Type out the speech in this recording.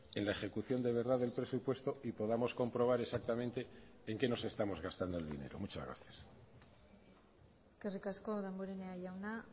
en la ejecución de verdad del presupuesto y podamos comprobar exactamente en qué nos estamos gastando el dinero muchas gracias eskerrik asko damborenea jauna